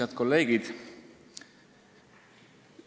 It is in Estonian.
Head kolleegid!